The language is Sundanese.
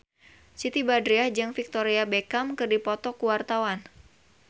Siti Badriah jeung Victoria Beckham keur dipoto ku wartawan